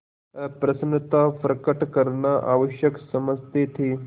अप्रसन्नता प्रकट करना आवश्यक समझते थे